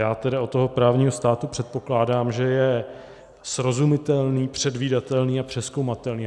Já tedy od toho právního státu předpokládám, že je srozumitelný, předvídatelný a přezkoumatelný.